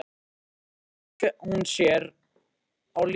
Síðan strauk hún sér á lífið.